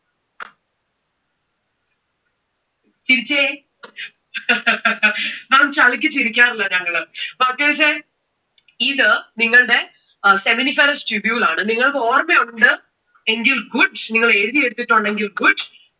ചിരിച്ചേ. maa'm ചളിക്ക് ചിരിക്കാറില്ല ഞങ്ങൾ. ഇത് നിങ്ങളുടെ അഹ് seminiferous tubule ആണ്, നിങ്ങൾക്കു ഓർമയുണ്ട് എങ്കിൽ good നിങ്ങൾ എഴുതി എടുത്തിട്ടുണ്ടെങ്കിൽ good